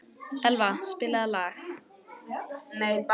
Elva, spilaðu lag.